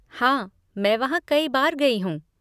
हाँ, मैं वहाँ कई बार गई हूँ।